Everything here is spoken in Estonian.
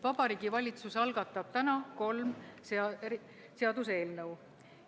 Vabariigi Valitsus algatab täna kolm seaduseelnõu.